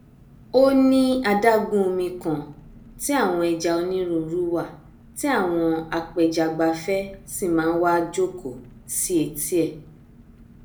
ó ní adágún omi kan tí àwọn ẹja onírúirú wà tí àwọn apẹjagbafẹ sì máa nwa jòkó sí etí ẹ